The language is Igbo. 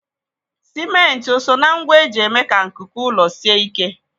Simenti o soo na ngwa eji eme ka nkuku ụlọ sie ike?